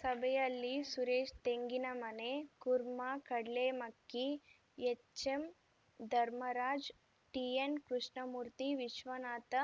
ಸಭೆಯಲ್ಲಿ Suresh Tenginamane Kurma Kadlemakki HM Dharmaraj TN Krishnamurthy Vishwanath